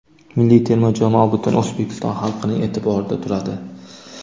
Milliy terma jamoa butun O‘zbekiston xalqining e’tiborida turadi.